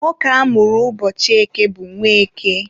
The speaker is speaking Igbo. nwoke a mụrụ ụbọchị eke bụ Nweke.